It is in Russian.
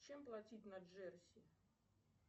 чем платить на джерси